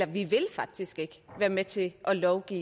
vi vil faktisk ikke være med til at lovgive